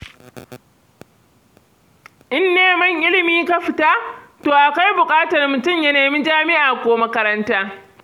In neman ilimi ka fita, to akwai buƙatar mutum ya nemi jami'a ko makaranta.